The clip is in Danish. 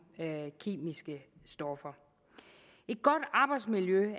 kemiske stoffer et godt arbejdsmiljø